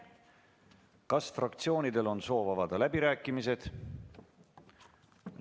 Kas fraktsioonidel on soov avada läbirääkimised?